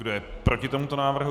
Kdo je proti tomuto návrhu?